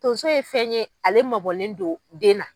Tonso ye fɛn ye ale mabɔlen don den na.